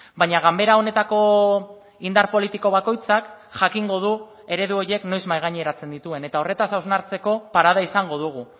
baina ganbera honetako indar politiko bakoitzak jakingo du eredu horiek noiz mahaigaineratzen dituen eta horretaz hausnartzeko parada izango dugu